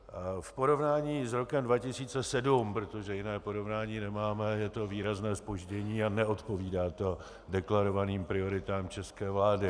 V porovnání s rokem 2007, protože jiné porovnání nemáme, je to výrazné zpoždění a neodpovídá to deklarovaným prioritám české vlády.